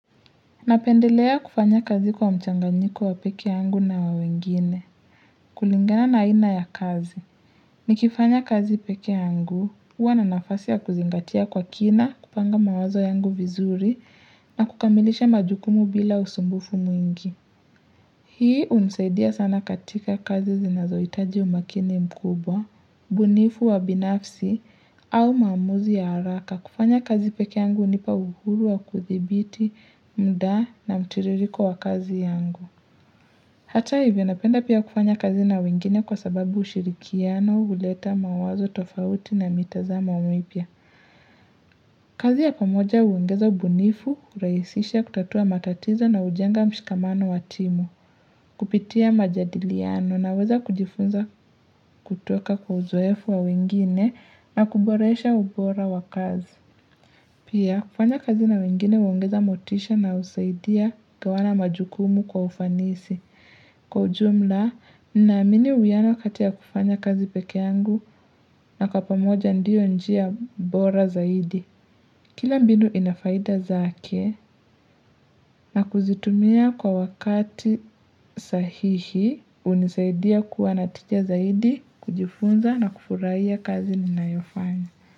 Napendelea kufanya kazi kwa mchanganyiko wa pekee yangu na wa wengine. Kulingana na aina ya kazi. Nikifanya kazi pekee yangu, huwa na nafasi ya kuzingatia kwa kina, kupanga mawazo yangu vizuri na kukamilisha majukumu bila usumbufu mwingi. Hii hunusaidia sana katika kazi zinazoitaji umakini mkubwa, ubunifu wa binafsi au maamuzi ya haraka kufanya kazi pekee yangu hunipa uhuru wa kuthibiti muda na mtiririko wa kazi yangu. Hata hivyo napenda pia kufanya kazi na wengine kwa sababu ushirikiano huleta mawazo tofauti na mitazama mipya. Kazi ya pamoja huongeza ubunifu, hurahisisha kutatua matatizo na hujenga mshikamano wa timu, kupitia majadiliano naweza kujifunza kutoka kwa uzoefu wa wingine na kuboresha ubora wa kazi. Pia, kufanya kazi na wengine huongeza motisha na husaidia kugawana majukumu kwa ufanisi. Kwa ujumla, naamini uwiyano kati ya kufanya kazi pekee yangu na kwa pamoja ndio njia bora zaidi. Kila mbinu ina faida zake na kuzitumia kwa wakati sahihi hunisaidia kuwa na tija zaidi kujifunza na kufurahia kazi ninayofanya.